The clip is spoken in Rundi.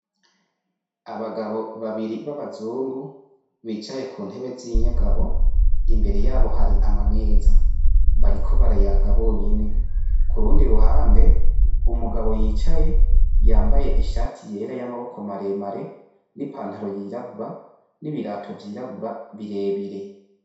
Abagabo babiri b'abazungu bicaye ku ntebe zinyegamo, imbere yabo hari amameza, bariko barayaga bonyene, kurundi ruhande umugabo yicaye yambaye ishati yera y'amaboko maremare n'ipantaro yirabura, n'ibirato vy'irabura birebire.